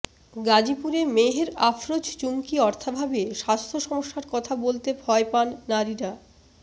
গাজীপুরে মেহের আফরোজ চুমকি অর্থাভাবে স্বাস্থ্য সমস্যার কথা বলতে ভয় পান নারীরা